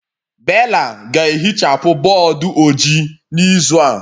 Bella ga-ehichapụ bọọdụ ojii n'izu a